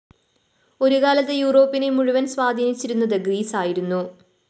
ഒരുകാലത്ത് യൂറോപ്പിനെ മുഴുവന്‍ സ്വാധീനിച്ചിരുന്നത് ഗ്രീസ് ആയിരുന്നു